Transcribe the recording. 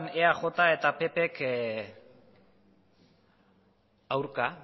eaj eta ppk aurka